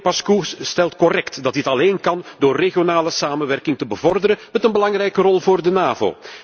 Collega Pașcu stelt correct dat dit alleen kan door regionale samenwerking te bevorderen met een belangrijke rol voor de NAVO.